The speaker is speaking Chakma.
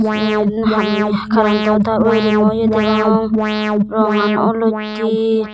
yen ham ham karento taar woringo ye degong rongan olottey.